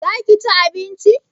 za ka ci abinci?